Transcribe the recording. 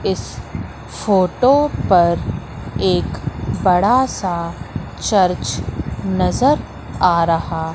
इस फोटो पर एक बड़ा सा चर्च नजर आ रहा--